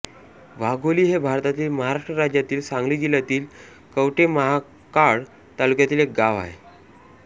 वाघोली हे भारतातील महाराष्ट्र राज्यातील सांगली जिल्ह्यातील कवठे महांकाळ तालुक्यातील एक गाव आहे